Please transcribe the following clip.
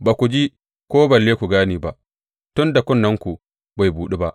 Ba ku ji ko balle ku gane ba; tun da kunnenku bai buɗu ba.